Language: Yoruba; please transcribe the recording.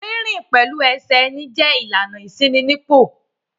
Rínrìn pẹ̀lú ẹsẹ̀ ẹni jẹ́ ìlànà ìṣínípò.